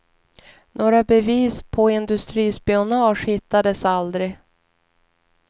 Några bevis på industrispionage hittades aldrig.